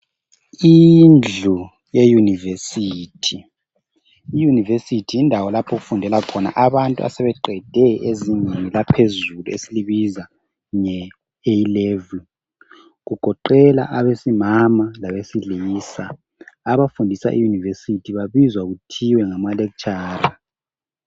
Indlu yeUniversity .I university yindawo lapho okufundela khona abantu asebeqede ezingeni laphezulu esilibiza nge A'level ,kugoqela abesimama labesilisa. Abafundisa iUniversity babizwa kuthiwe ngama lecturer.